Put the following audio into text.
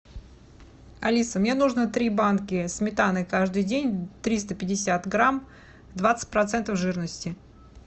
алиса мне нужно три банки сметаны каждый день триста пятьдесят грамм двадцать процентов жирности